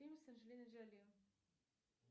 фильм с анжелиной джоли